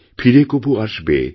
ফিরে কভু আসবে